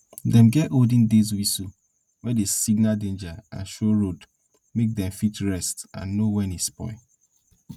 dem get olden days whistles wey dey signal danger and show road make dem fit rest and know when e spoil